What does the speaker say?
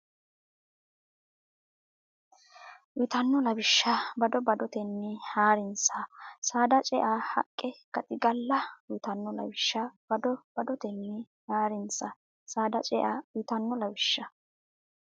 uytanno lawishsha bado badotenni haa rinsa Saada cea haqqe gaxigala uytanno lawishsha bado badotenni haa rinsa Saada cea uytanno lawishsha.